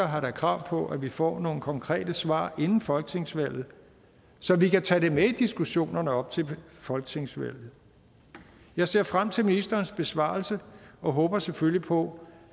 har krav på at vi får nogle konkrete svar inden folketingsvalget så vi kan tage det med i diskussionerne op til folketingsvalget jeg ser frem til ministerens besvarelse og håber selvfølgelig på